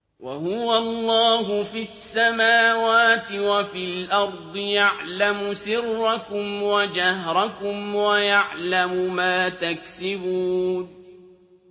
وَهُوَ اللَّهُ فِي السَّمَاوَاتِ وَفِي الْأَرْضِ ۖ يَعْلَمُ سِرَّكُمْ وَجَهْرَكُمْ وَيَعْلَمُ مَا تَكْسِبُونَ